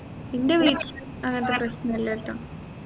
ഇൻറെ വീട്ടിൽ അങ്ങത്തെ പ്രശ്നമില്ലട്ടോ